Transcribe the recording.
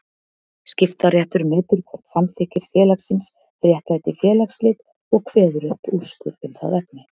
Skiptaréttur metur hvort samþykktir félagsins réttlæti félagsslit og kveður upp úrskurð um það efni.